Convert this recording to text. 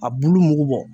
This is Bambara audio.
A bulu mugu bɔ